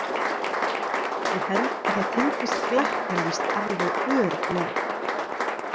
Ég held að það tengist glæpnum víst alveg örugglega.